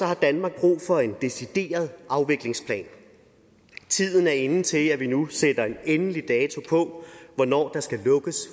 har danmark brug for en decideret afviklingsplan tiden er inde til at vi nu sætter en endelig dato på hvornår der skal lukkes